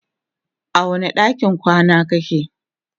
a wani ɗakin kwana kake?